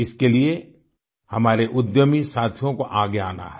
इसके लिए हमारे उद्यमी साथियों को आगे आना है